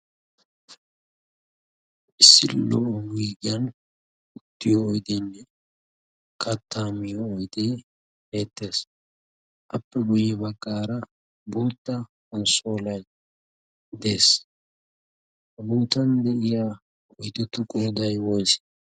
pissilo wiggiyan uttiyo oydenne kattaamiyo oydee beettees. appe guyye baqqaara bootta konssola dees. ha buutan de'iya oydettu qooday woysee?